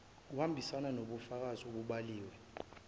kuhambisana nobufakazi obubhaliwe